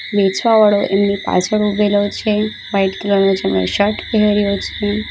વેચવા વાળો એની પાછળ ઉભેલો છે વાઈટ કલર નુ જેવો શર્ટ પહેર્યો છે.